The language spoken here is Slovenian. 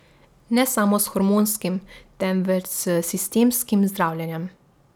Ne samo s hormonskim, temveč s sistemskim zdravljenjem.